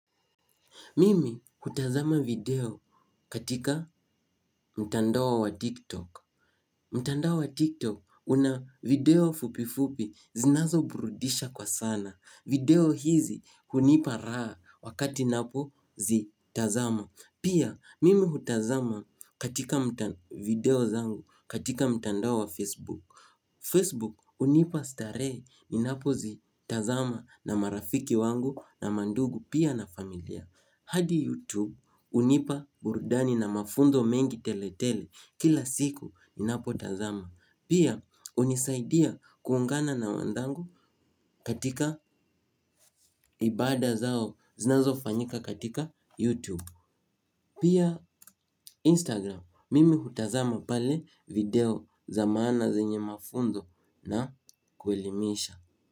Mimi hutazama video katika mtandao wa TikTok. Mtandao wa TikTok una video fupi fupi zinazo burudisha kwa sana. Video hizi hunipa raa wakati napo zi tazama. Pia mimi hutazama katika video zangu katika mtandao wa Facebook. Facebook hunipa starehe ninapo zi tazama na marafiki wangu na mandugu pia na familia. Hadi YouTube hunipa burudani na mafunzo mengi tele tele kila siku ni napo tazama. Pia unisaidia kuungana na wandangu katika ibada zao zinazo fanyika katika YouTube. Pia Instagram mimi hutazama pale video za maana zenye mafunzo na kuelimisha.